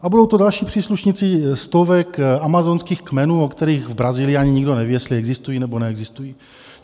A budou to další příslušníci stovek amazonských kmenů, o kterých v Brazílii ani nikdo neví, jestli existují, nebo neexistují.